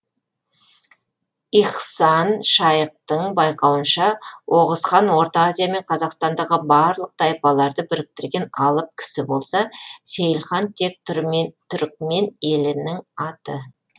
ихсан шаиқтың байқауынша оғыз хан орта азия мен қазақстандағы барлық тайпаларды біріктірген алып кісі болса сейілхан тек түрікмен елінің аты